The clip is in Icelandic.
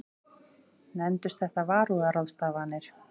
Nefndust þetta varúðarráðstafanir.